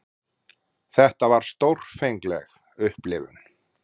Þetta var stórfengleg upplifun.